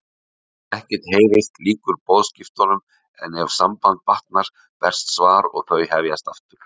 Ef ekkert heyrist lýkur boðskiptunum en ef sambandið batnar berst svar og þau hefjast aftur.